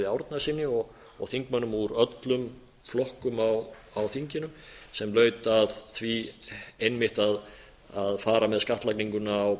árnasyni og þingmönnum úr öllum flokkum á þinginu sem laut að því einmitt að fara með skattlaginguna á